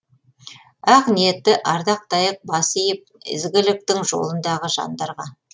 ақ ниетті ардақтайық бас иіп ізгіліктің жолындағы жандарға